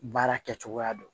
Baara kɛcogoya don